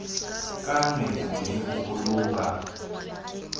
ka nepo le ho boloka